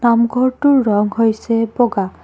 নামঘৰটোৰ ৰং হৈছে বগা।